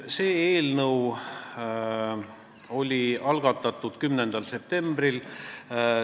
Eelnõu algatati 10. septembril.